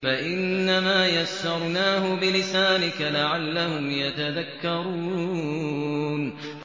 فَإِنَّمَا يَسَّرْنَاهُ بِلِسَانِكَ لَعَلَّهُمْ يَتَذَكَّرُونَ